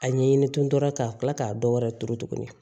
A ɲɛɲini tun tora ka kila k'a dɔ wɛrɛ turu tuguni